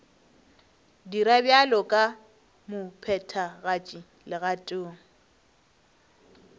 dira bjalo ka mophethagatši legatong